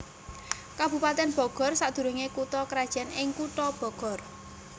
Kabupatèn Bogor sadurungé kutha krajan ing Kutha Bogor